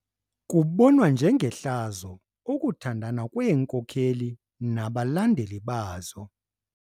Kubonwa njengehlazo ukuthandana kweenkokeli nabalandeli bazo.